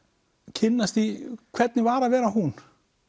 kynnast því hvernig var að vera hún